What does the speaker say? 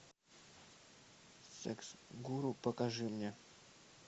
секс гуру покажи мне